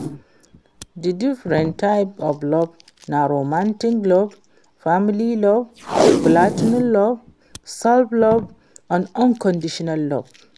di different types of love na romantic love, family love, platonic love, self-love and unconditional love.